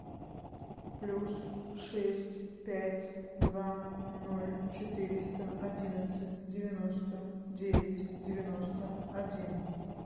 плюс шесть пять два ноль четыреста одиннадцать девяносто девять девяносто один